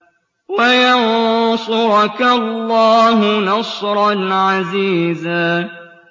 وَيَنصُرَكَ اللَّهُ نَصْرًا عَزِيزًا